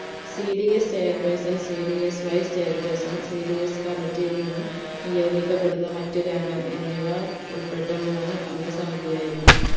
cdschair personcdswise chair personcdscommitty യിൽ നിന്നും നിയോഗിക്കപ്പെടുന്ന മറ്റൊരു അംഗം എന്നിവ ഉൾപ്പെട്ട മൂന്ന് അംഗസമിതി ആയിരിക്കും